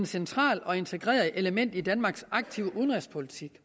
centralt og integreret element i danmarks aktive udenrigspolitik